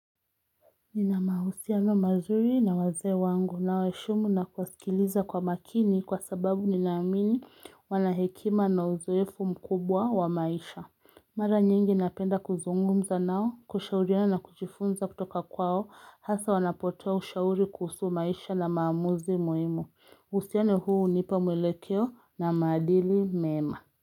Nina mahusiano mazuri na wazee wangu nawaheshimu na kuwasikiliza kwa makini kwa sababu ninaamini wana hekima na uzoefu mkubwa wa maisha Mara nyingi napenda kuzungumza nao kushauriana na kujifunza kutoka kwao hasa wanapotoa ushauri kuhusu maisha na maamuzi muhimu uhusiano huu hunipa mwelekeo na maadili mema.